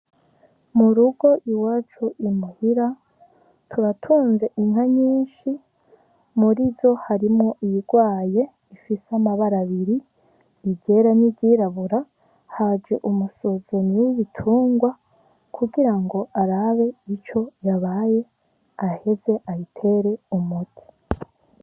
Mu rugo iwacu i muhira turatunze inka nyinshi muri zo harimwo iyirwaye ifise amabara abiri iryera niry'irabura, haje umusuzumyi w'ibitungwa kuko ngo arabe ico yabaye aheze ayitere umuti.